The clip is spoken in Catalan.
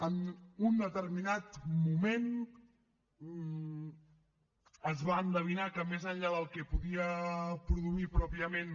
en un determinat moment es va endevinar que més enllà del que podia produir pròpiament